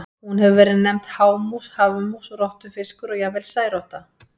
Hún hefur verið nefnd hámús, hafmús, rottufiskur og jafnvel særotta.